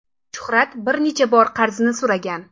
Shuhrat bir necha bor qarzni so‘ragan.